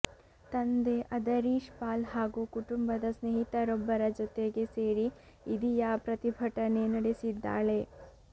ತಂದೆ ಅದರೀಶ್ ಪಾಲ್ ಹಾಗೂ ಕುಟುಂಬದ ಸ್ನೇಹಿತರೊಬ್ಬರ ಜೊತೆಗೆ ಸೇರಿ ಇದಿಯಾ ಪ್ರತಿಭಟನೆ ನಡೆಸಿದ್ದಾಳೆ